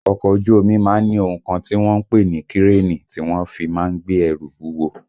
Ọkọ̀ ojú omi má ń ni ohun kan tí wọ́n ń pè ní kírènì tí wọ́n fi má ń gbé ẹrù wúwo